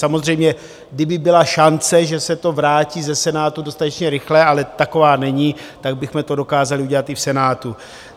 Samozřejmě, kdyby byla šance, že se to vrátí ze Senátu dostatečně rychle, ale taková není, tak bychom to dokázali udělat i v Senátu.